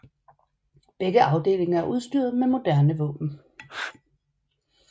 Begge afdelinger er udstyret med moderne våben